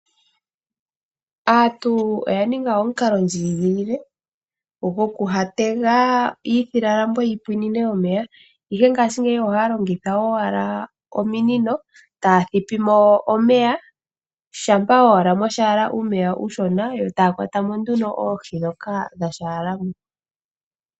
Aantu oya ninga omukalondjigilile goku ha tega iifilalambo yi pwine omeya, ihe ngaashingeyi ohaya longitha owala ominino taa thipi mo omeya, shampa owala mwa thigala uumeya uushona yo taa kwata mo nduno oohi ndhoka dha kala mo.